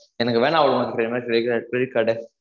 எனக்கு வேணாம் madam இனி credit card credit card